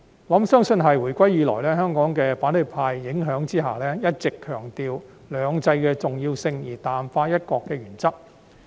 我相信是因為回歸以來，香港在反對派的影響下，一直強調"兩制"的重要性，卻淡化"一國"的原則。